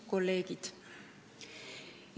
Kolleegid!